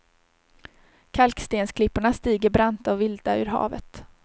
Kalkstensklipporna stiger branta och vilda ur havet.